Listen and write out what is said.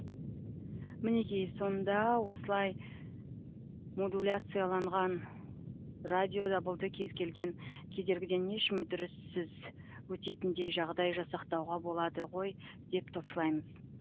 мінеки сонда осылай модуляцияланған радиодабылды кез келген кедергіден еш мүдіріссіз өтетіндей жағдай жасақтауға болады ғой деп топшылаймыз